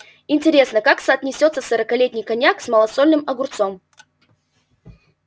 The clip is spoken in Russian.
интересно как соотнесётся сорокалетний коньяк с малосольным огурцом